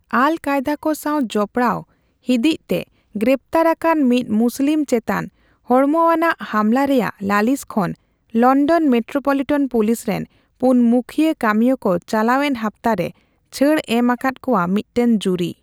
ᱟᱞᱼᱠᱟᱭᱫᱟ ᱠᱚ ᱥᱟᱣ ᱡᱚᱯᱚᱲᱟᱣ ᱦᱤᱸᱫᱤᱡ ᱛᱮ ᱜᱨᱮᱯᱛᱟᱨ ᱟᱠᱟᱱ ᱢᱤᱫ ᱢᱩᱥᱞᱤᱢ ᱪᱮᱛᱟᱱ ᱦᱚᱲᱢᱚᱣᱟᱱᱟᱜ ᱦᱟᱢᱞᱟ ᱨᱮᱭᱟᱜ ᱞᱟᱹᱞᱤᱥ ᱠᱷᱚᱱ ᱞᱚᱱᱰᱚᱱ ᱢᱮᱴᱨᱳᱯᱚᱞᱤᱴᱚᱱ ᱯᱩᱞᱤᱥ ᱨᱮᱱ ᱯᱩᱱ ᱢᱩᱠᱷᱭᱟᱹ ᱠᱟᱹᱢᱤᱭᱟᱹ ᱠᱚ ᱪᱟᱞᱟᱣᱮᱱ ᱦᱟᱯᱛᱟ ᱨᱮ ᱪᱷᱟᱹᱲᱮ ᱮᱢ ᱟᱠᱟᱫ ᱠᱚᱣᱟ ᱢᱤᱫᱴᱮᱱ ᱡᱩᱨᱤ ᱾